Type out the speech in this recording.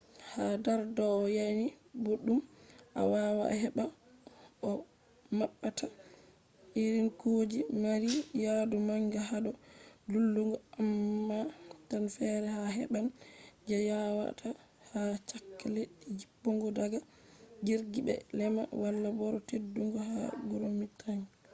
ha dar yanayi boddum a wawa a heba koh mabbata irin kuje mari yadu manga hado dillugo- amma tan fere a heban je yawata ha chaka leddi jippugo daga jirgi be lema wala boro tedudum ha groomed tracks